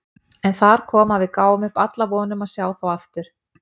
En þar kom að við gáfum upp alla von um að sjá þá aftur.